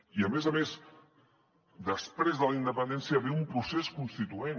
i a més a més després de la independència ve un procés constituent